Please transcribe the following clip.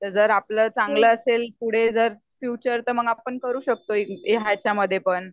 जर आपल चांगल असेल पुढे जर फ्युचर तर मग करू शकतो याच्यामध्ये पण`